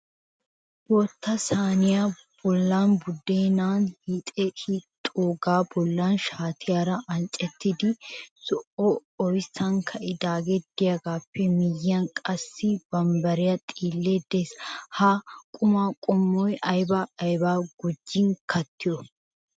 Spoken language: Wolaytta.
Bootta sayniyaa bollan buddeena hiixxidoogaa bollan shaatiyaara anccettida zo"o oyssan ka"idaagee diyaagaappe miyiyan qassi bambbariyaa xiillekka de'ees. Ha qumaa qommuwan ayba ayba gujjidi kattiyoo?